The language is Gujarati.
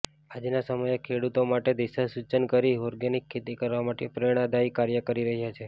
આજના સમયે ખેડૂતો માટે દિશાસૂચન કરી ઓર્ગેનિક ખેતી કરવા માટે પ્રેરણાદાયી કાર્ય કરી રહ્યા છે